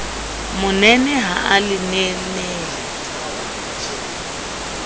monene ha le ne le